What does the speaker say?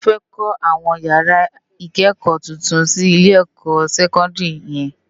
Wòn fè kò áwòn iyárá ikëkò tútún si Ilé èkò sèkòndiri yèn